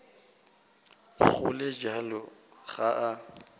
go le bjalo ga a